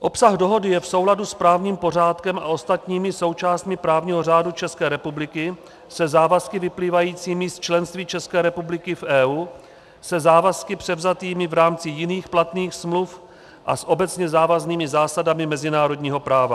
Obsah dohody je v souladu s právním pořádkem a ostatními součástmi právního řádu České republiky, se závazky vyplývajícími z členství České republiky v EU, se závazky převzatými v rámci jiných platných smluv a s obecně závaznými zásadami mezinárodního práva.